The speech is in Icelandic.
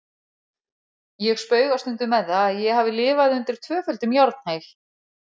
Ég spauga stundum með það að ég hafi lifað undir tvöföldum járnhæl.